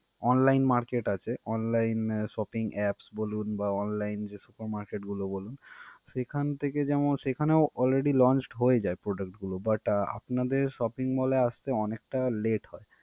online market আছে online shopping apps বলুন বা online যে supermarket গুলো বলুন সেখান থেকে যেমন সেখানেও already launched হয়ে যায় product গুলো but আ~ আপনাদের shopping mall এ আসতে অনেকটা late হয়।